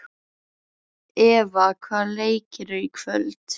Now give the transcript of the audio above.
Eva, hvaða leikir eru í kvöld?